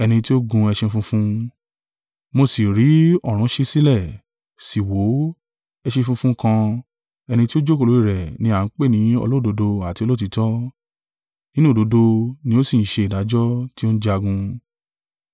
Mo sì rí ọ̀run ṣí sílẹ̀, sì wò ó, ẹṣin funfun kan; ẹni tí ó jókòó lórí rẹ̀ ni à ń pè ní Olódodo àti Olóòtítọ́, nínú òdodo ni ó sì ń ṣe ìdájọ́, tí ó ń jagun.